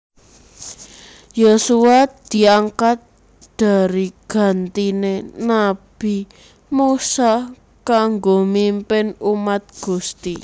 Yosua diangkat dari gantiné nabi Musa kanggo mimpin umat Gusti